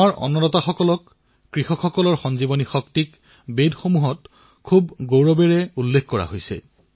আমাৰ অন্নদাতাৰ কৃষকৰ জীৱনদায়িনী শক্তিক বেদতো গৌৰৱেৰে উল্লেখ কৰা হৈছে